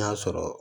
N'a y'a sɔrɔ